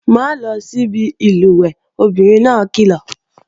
Má lọ síbi ìlùwẹ̀ẹ̀, obìnrin náà kìlọ̀!